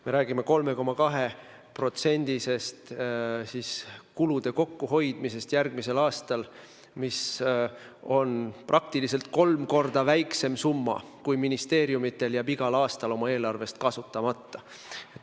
Me räägime 3,2%-st kulude kokkuhoidmisest järgmisel aastal, mis on kolm korda väiksem summa, kui ministeeriumidel jääb igal aastal oma eelarvest kasutamata.